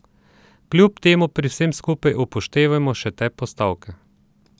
Kljub temu pri vsem skupaj upoštevajmo še te postavke.